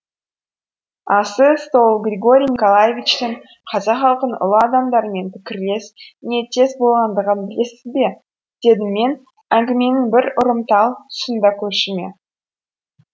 ал сіз сол григорий николаевичтің қазақ халқының ұлы адамдарымен пікірлес ниеттес болғандығын білесіз бе дедім мен әңгіменің бір ұрымтал тұсында көршіме